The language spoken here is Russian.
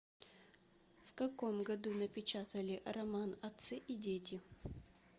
в каком году напечатали роман отцы и дети